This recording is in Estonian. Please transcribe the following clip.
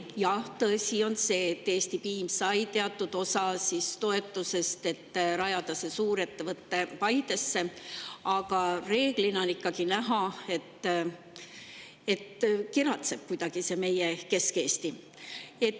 Jah, tõsi on see, et Eesti Piim sai teatud osa toetusest, et rajada suurettevõte Paidesse, aga ikkagi on näha, et meie Kesk‑Eesti pigem kiratseb.